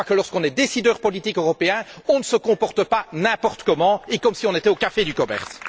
Je crois que, lorsqu'on est décideur politique européen, on ne se comporte pas n'importe comment, comme si on était au café du commerce.